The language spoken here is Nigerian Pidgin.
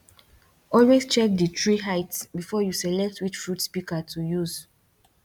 always check di tree height before you select which fruit pika to use